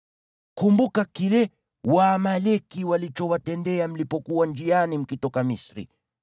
Kumbuka kile Waamaleki walichowatendea mlipokuwa njiani mkitoka Misri.